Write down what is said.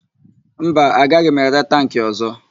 Mba, agaghị m ere tankị ọ̀zọ́.